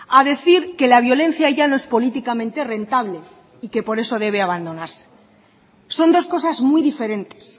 a decir que la violencia ya no es políticamente rentable y que por eso debe abandonarse son dos cosas muy diferentes